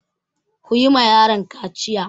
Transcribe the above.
Ku yi ma yaron kaciya!